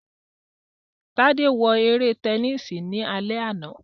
Tade wo ere tẹnisi ni alẹ ana